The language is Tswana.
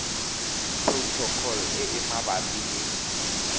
protocol e e mabapi le